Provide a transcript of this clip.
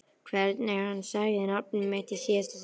Hvernig hann sagði nafnið mitt í síðasta sinn.